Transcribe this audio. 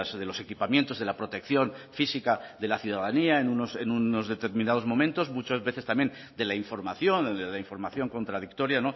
de los equipamientos de la protección física de la ciudadanía en unos determinados momentos muchas veces también de la información la información contradictoria